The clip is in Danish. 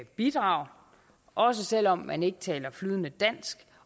bidrage også selv om man ikke taler flydende dansk